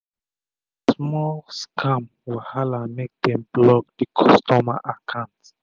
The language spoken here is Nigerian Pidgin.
na small um scam wahala make dem block d customer akant